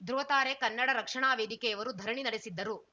ಧೃವತಾರೆ ಕನ್ನಡ ರಕ್ಷಣಾ ವೇದಿಕೆಯವರು ಧರಣಿ ನಡೆಸಿದ್ದರು